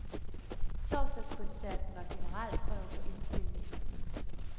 Torsdagskoncerten var generalprøve på indspilningen.